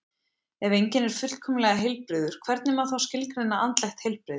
Ef enginn er fullkomlega heilbrigður, hvernig má þá skilgreina andlegt heilbrigði?